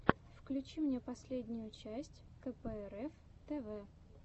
включи мне последнюю часть кэпээрэф тэвэ